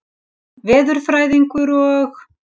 Jón veðurfræðingur og